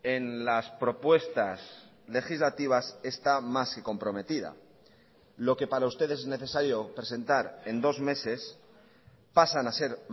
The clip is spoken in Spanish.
en las propuestas legislativas está más que comprometida lo que para usted es necesario presentar en dos meses pasan a ser